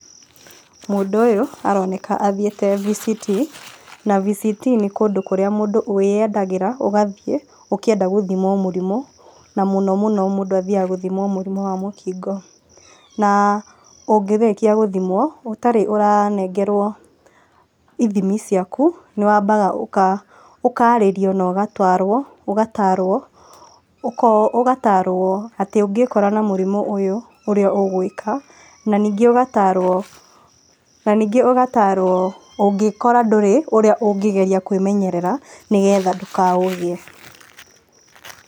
Mũndũ ũyũ aroneka athiĩte VCT. Na VCT nĩ kũndũ kũrĩa mũndũ wĩyendagĩra ũgathiĩ ũkĩenda gũthimwo mũrimũ, na mũno mũno mũndũ athiaga gũthimwo mũrimũ wa mũkingo. Na ũngĩrĩkia gũthimwo ũtarĩ ũranengerwo ithimi ciaku nĩ wambaga ũkarĩrio na ũgatwaro, ũgatarwo atĩ ũngĩkora na mũrimũ ũyũ ũrĩa ũgwĩka na ningĩ ũgatarwo, na ningĩ ũgatarwo, ũngĩkora ndũrĩ ũrĩa ũngĩgeria kwĩmenyerera nĩgetha ndũkaũgĩe.